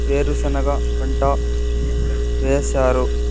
వేరుశెనగ పంట వేశారు.